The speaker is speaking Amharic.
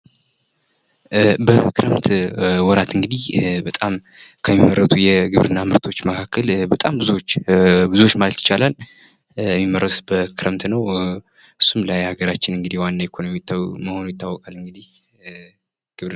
በክረምት ወራት እንግዲህ በጣም ከሚመረቱ የግብርና ምርቶች መካከል በጣም ብዙዎች ማለት ይቻላል የሚመረቱት በክረምት ነው። እሱም ለሀገራችን ዋና ኢኮኖሚ መሆን ይታወቃል እንግዲህ ።